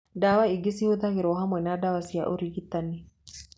Ndawa ingĩ nĩ cihũthagĩrwo hamwe na ndawa cia ũrigitani.